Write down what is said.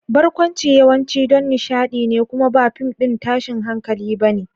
Barkwanci yawanci don nishaɗi ne kuma ba fim ɗin tashin hankali ba ne.